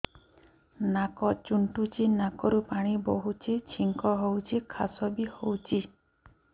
ନାକ ଚୁଣ୍ଟୁଚି ନାକରୁ ପାଣି ବହୁଛି ଛିଙ୍କ ହଉଚି ଖାସ ବି ହଉଚି